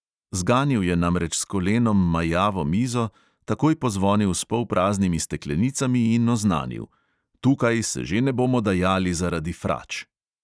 Zganil je namreč s kolenom majavo mizo, takoj pozvonil s polpraznimi steklenicami in oznanil: "tukaj se že ne bomo dajali zaradi frač!"